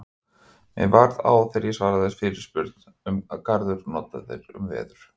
Mér varð á þegar ég svaraði fyrirspurn um orðið garður notað um veður.